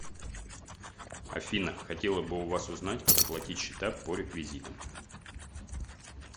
афина хотела бы у вас узнать как оплатить счета по реквизитам